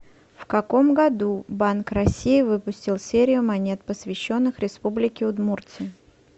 в каком году банк россии выпустил серию монет посвященных республике удмуртия